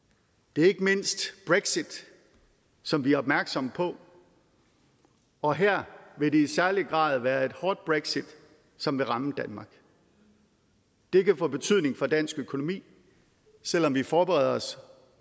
det er ikke mindst brexit som vi er opmærksomme på og her vil det i særlig grad være et hårdt brexit som vil ramme danmark det kan få betydning for dansk økonomi selv om vi forbereder os